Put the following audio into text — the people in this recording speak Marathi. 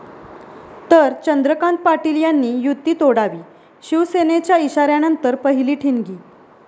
...तर चंद्रकांत पाटील यांनी युती तोडावी', शिवसेनेच्या इशाऱ्यानंतर पहिली ठिणगी